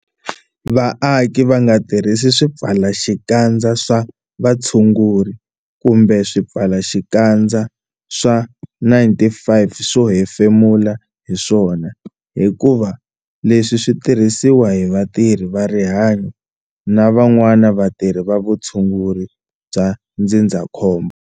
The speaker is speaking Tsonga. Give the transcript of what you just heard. Vaaki va nga tirhisi swipfalaxikandza swa vutshunguri kumbe swipfalaxikandza swa N-95 swo hefemula hi swona hikuva leswi swi tirhisiwa hi vatirhi va rihanyo na van'wana vatirhi va vutshunguri bya ndzindzakhombo.